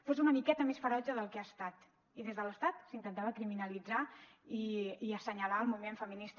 fos una miqueta més ferotge del que ha estat i des de l’estat s’intentava criminalitzar i assenyalar el moviment feminista